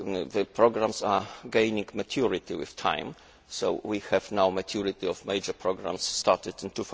The programmes are gaining maturity with time, so we now have maturity of major programmes that started